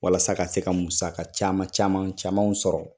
Walasa ka se ka musaka caman camanw sɔrɔ.